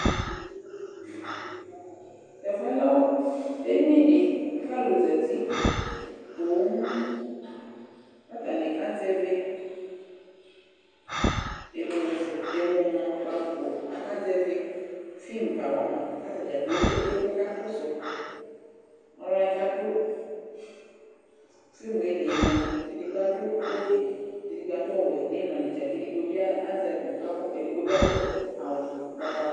Tʋ ɛfʋ yɛ lɛ edini dɩ kʋ alʋ zati poo kʋ atanɩ kazɛvɩ emuzɛ ɛmʋnʋkpako, akazɛvɩ film kawa ma kʋ ata dza kplo ekpe emu kʋ akakɔsʋ Alʋ wanɩ kʋ adʋ filmu yɛ li yɛ mʋa, edigbo adʋ kotu, kʋ edigbo adʋ ɔwɛ nʋ ɩmla netse la kʋ edigbo bɩ azɛ akpo ak edigbo bɩ adʋ awʋ ʋgbatawla